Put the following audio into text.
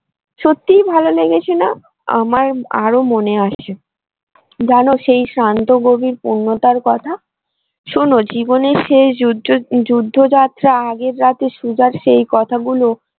সত্যিই ভালো লেগেছে না আমার আরো মনে আছে জানো সেই শান্ত গভীর পূর্ণতার কথা শোনো জীবনের শেষ যুদ্ধ যাত্রা আগের রাতে সুজার সেই কথাগুলো।